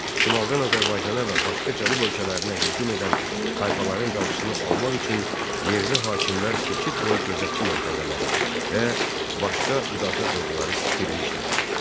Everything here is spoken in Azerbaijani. Şimaldan Azərbaycana və başqa cənub ölkələrinə hücum edən tayfaların qarşısını almaq üçün yerli hakimlər keçid boyu gözətçi məntəqələri və başqa müdafiə qurğuları tikdirmişdilər.